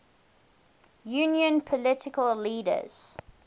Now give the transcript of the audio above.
union political leaders